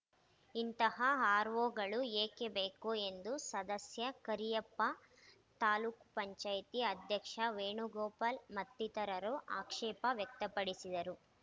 ಇಂತಹ ಆರ್‌ಒಗಳು ಏಕೆ ಬೇಕು ಎಂದು ಸದಸ್ಯ ಕರಿಯಪ್ಪ ತಾಲೂಕ್ ಪಂಚಾಯಿತಿ ಅಧ್ಯಕ್ಷ ವೇಣುಗೋಪಾಲ್‌ ಮತ್ತಿತರರು ಆಕ್ಷೇಪ ವ್ಯಕ್ತಪಡಿಸಿದರು